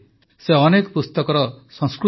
ସେମାନେ ଅନେକ ଗବେଷଣା ସନ୍ଦର୍ଭ ଓ ପୁସ୍ତକ ଲେଖିଛନ୍ତି